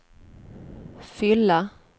fylla